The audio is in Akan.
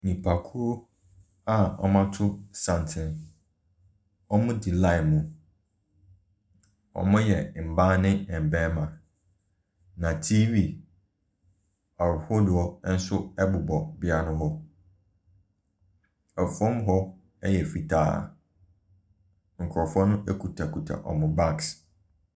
Nnipakuo a wɔato santene. Wɔdi line mu. Wɔyɛ mmaa ne mmarima, na TV ahodoɔ nso bobɔ beaeɛ hɔ. Fam hɔ yɛ fitaa. Nkurɔfoɔ no kutakuta wɔn bags.